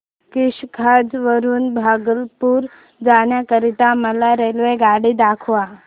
किशनगंज वरून भागलपुर जाण्या करीता मला रेल्वेगाडी दाखवा